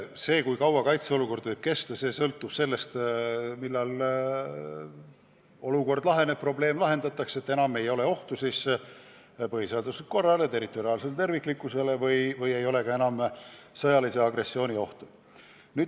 See, kui kaua kaitseolukord kestab, sõltub sellest, millal olukord laheneb, probleem lahendatakse, enam ei ole ohtu põhiseaduslikule korrale, territoriaalsele terviklikkusele ega ole ka enam sõjalise agressiooni ohtu.